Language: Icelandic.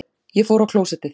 Ég fór á klósettið.